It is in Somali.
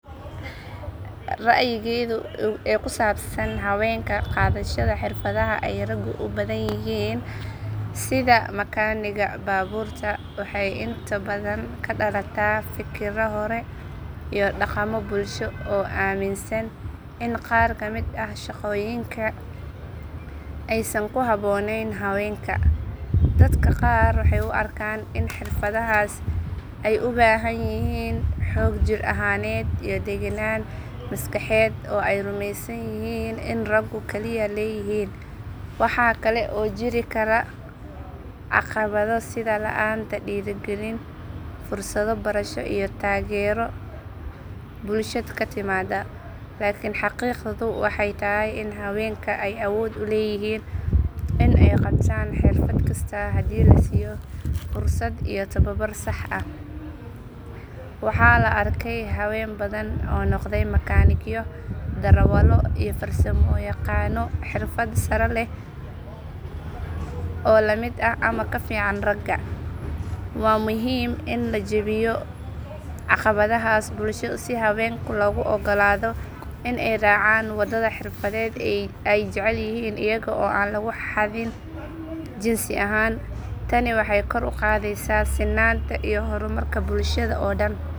Rayigeedo hawenka ee qadashaada ee raga ku badan yihin sitha makaniga baburta waxee inta badan kadalata fikradha hore iyo daqama bulshaaded in qar kamiid ah shaqoyin ee san ku habonen, dadka qarka waxee u arkan in xirfadahas ee u bahan yihin xog jir ahaneed maskaxeed oo ee rumesab yihin in ragu kali ee leyihin, lakin xaqiqdu waxaa waye in ee sameyni karan hawenka, ee jecelyihin iya oo an jinsi ahan, tani waxee kor uqadheysa sinanta bulshaada oo dan.